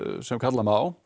sem kalla má